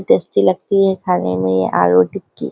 tasty लगती है खाने में ये आलू टिक्की --